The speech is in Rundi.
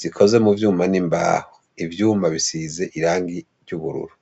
zikoze mu vyuma n'imbaho, ivyuma bisize irangi ry'ubururu.